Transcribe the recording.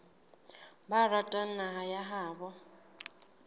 ba ratang naha ya habo